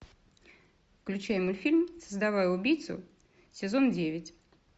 включи мультфильм создавая убийцу сезон девять